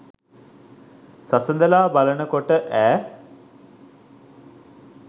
සසඳලා බලන කොට ඇ.